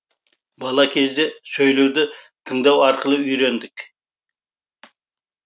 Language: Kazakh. бала кезде сөйлеуді тыңдау арқылы үйрендік